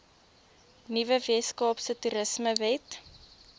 nuwe weskaapse toerismewet